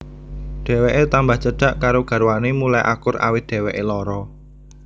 Dheweké tambah cedhak karo garwané mulai akur awit dheweké lara